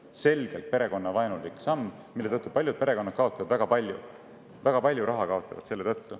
Selgelt perekonnavaenulik samm, mille tõttu paljud perekonnad kaotavad väga palju raha.